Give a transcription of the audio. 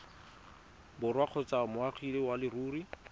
borwa kgotsa moagi wa leruri